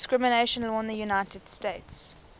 discrimination law in the united states